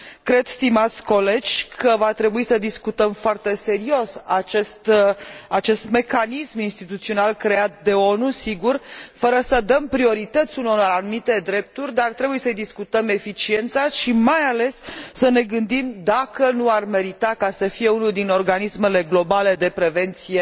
Cred, stimați colegi, că va trebui să discutăm foarte serios acest mecanism instituțional creat de ONU, sigur, fără să dăm priorități unor anumite drepturi, dar trebuie să îi discutăm eficiența și, mai ales, să ne gândim dacă nu ar merita să fie unul din organismele globale de prevenție